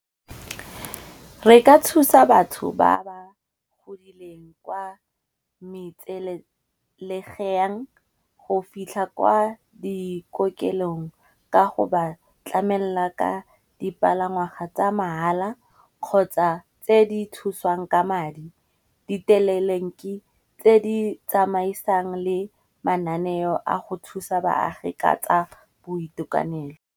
Re ka thusa batho ba ba godileng kwa metselegeng, go fitlha kwa dikokelong ka go ba tlamela ka dipalangwaga tsa mahala kgotsa tse di thusiwang ka madi. Ditelelenki tse di tsamaisang le mananeo a go thusa baagi ka tsa boitekanelo.